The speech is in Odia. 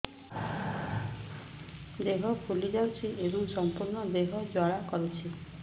ଦେହ ଫୁଲି ଯାଉଛି ଏବଂ ସମ୍ପୂର୍ଣ୍ଣ ଦେହ ଜ୍ୱାଳା କରୁଛି